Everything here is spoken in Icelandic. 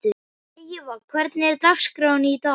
Drífa, hvernig er dagskráin í dag?